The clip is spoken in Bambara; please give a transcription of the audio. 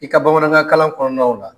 I ka bamanankankalan kɔɔnaw la